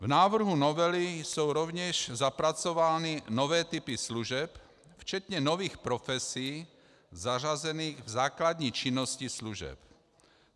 V návrhu novely jsou rovněž zapracovány nové typy služeb včetně nových profesí zařazených v základní činnosti služeb.